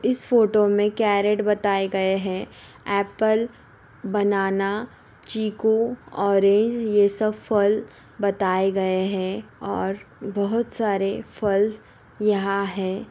इस फोटो में कैरेट बताए गए है। एप्पल बनाना चीकू ऑरेंज यह सब फल बताए गए है और बहुत सारे फल यहाँ है।